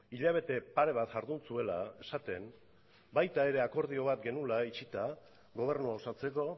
hilabete pare bat jardun zuela esaten baita ere akordio bat genuela itxita gobernua osatzeko